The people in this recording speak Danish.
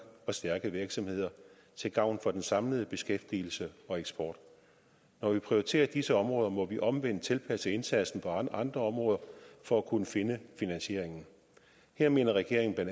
og stærke virksomheder til gavn for den samlede beskæftigelse og eksport når vi prioriterer disse områder må vi omvendt tilpasse indsatsen på andre områder for at kunne finde finansieringen her mener regeringen bla